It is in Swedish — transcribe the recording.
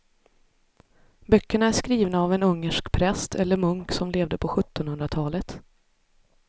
Böckerna är skrivna av en ungersk präst eller munk som levde på sjuttonhundratalet.